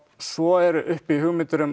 svo eru uppi hugmyndir um